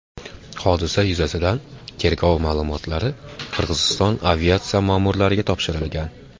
Hodisa yuzasidan tergov ma’lumotlari Qirg‘iziston aviatsiya ma’murlariga topshirilgan.